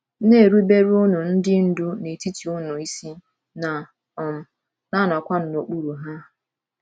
“ Na -- eruberenụ ndị ndu n’etiti unu isi, na - um anọkwanụ n’okpuru ha”